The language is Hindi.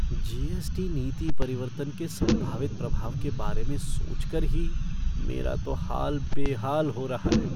जी.एस.टी. नीति परिवर्तन के संभावित प्रभाव के बारे में सोचकर ही मेरा तो हाल बेहाल हो रहा है।